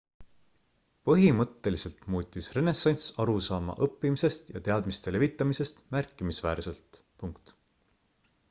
põhimõtteliselt muutis renessanss arusaama õppimisest ja teadmiste levitamisest märkimisväärselt